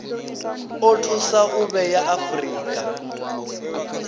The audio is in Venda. o thusa u vhea afurika